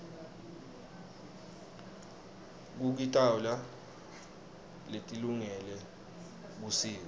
kukitoala letilungele busika